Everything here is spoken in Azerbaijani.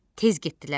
Tez getdilər.